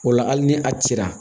O la hali ni a cira